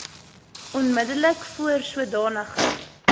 onmiddellik voor sodanige